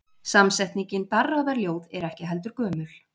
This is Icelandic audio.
Samsetningin darraðarljóð er ekki heldur gömul.